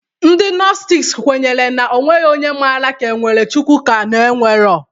Ndị nostic kwenyere na onwegho onye mara ka enwere Chukwu ka ọ na enwegho